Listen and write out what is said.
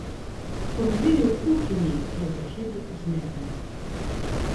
Ko me vidi v kuhinji, je za hip zmedena.